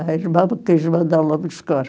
A irmã quis mandá-la buscar.